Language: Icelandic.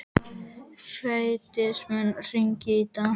Fídes, mun rigna í dag?